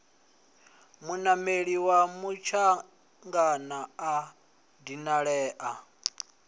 munameli wa mutshangana a dinalea